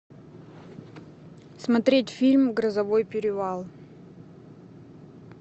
смотреть фильм грозовой перевал